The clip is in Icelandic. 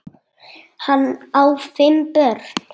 Hann á fimm börn.